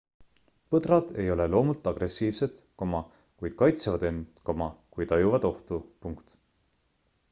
põdrad ei ole loomult agressiivsed kuid kaitsevad end kui tajuvad ohtu